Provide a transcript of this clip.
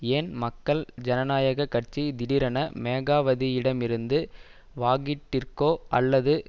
ஏன் மக்கள் ஜனநாயக கட்சி திடீரென மேகாவதியிடமிருந்து வாகிட்டிற்கோ அல்லது